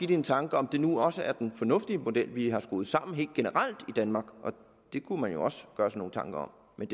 det en tanke om det nu også er den mest fornuftige model vi helt generelt har skruet sammen i danmark det kunne man jo også gøre sig nogle tanker om